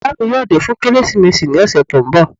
Ìyá mi yóò dé fún Kérésìmesì ní ọ̀sẹ̀ tí ó ń bọ̀